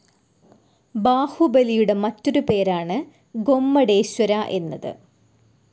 ബാഹുബലിയുടെ മറ്റൊരു പേരാണ് ഗൊമ്മടേശ്വര എന്നത്.